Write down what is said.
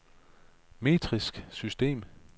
metrisk system